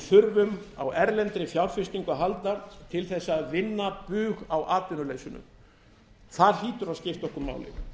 þurfum á erlendra fjárfestingu að halda til að vinna bug á atvinnuleysinu það hlýtur að skipta okkur máli og